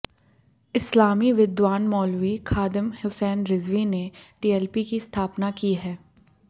इस्लामी विद्वान मौलवी खादिम हुसैन रिजवी ने टीएलपी की स्थापना की है